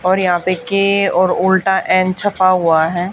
और यहां पे के और उल्टा एन छपा हुआ है।